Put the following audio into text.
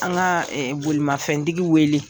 An ka bolimafɛntigi wele.